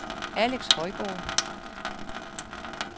Alex Højgaard